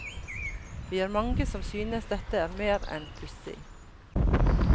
Vi er mange som synes dette er mer enn pussig.